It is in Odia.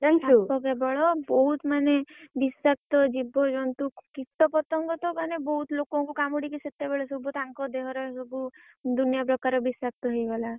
ସାପ କେବଳ ବହୁତ୍ ମାନେ ବିଷାକ୍ତ ଜୀବଜନ୍ତୁ କୀଟପତଙ୍ଗ ତ ମାନେ ବହୁତ ଲୋକଙ୍କୁ କାମୁଡିକି ସେତବେଳେ ସବୁ ତାଙ୍କ ଦେହରେ ସବୁ ଦୁନିଆ ପ୍ରକାର ବିଷାକ୍ତ ହେଇଗଲା।